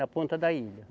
Na ponta da ilha.